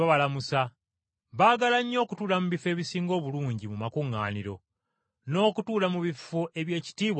Baagala nnyo okutuula mu bifo ebisinga obulungi mu makuŋŋaaniro, n’okutuula mu bifo eby’ekitiibwa ku mbaga.